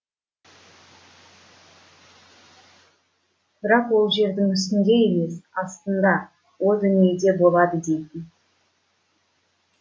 бірақ ол жердің үстінде емес астында о дүниеде болады дейтін